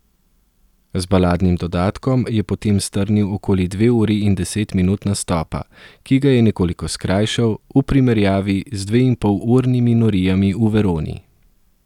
Z baladnim dodatkom je potem strnil okoli dve uri in deset minut nastopa, ki ga je nekoliko skrajšal v primerjavi z dveinpolurnimi norijami v Veroni.